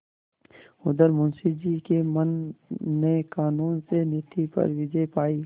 उधर मुंशी जी के मन ने कानून से नीति पर विजय पायी